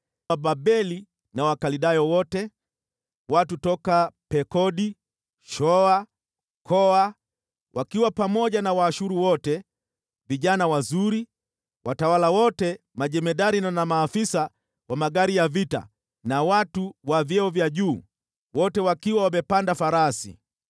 Wababeli na Wakaldayo wote, watu kutoka Pekodi, na Shoa na Koa, wakiwa pamoja na Waashuru wote, vijana wazuri, wote wakiwa watawala na majemadari, maafisa wa magari ya vita na watu wa vyeo vya juu, wote wakiwa wamepanda farasi.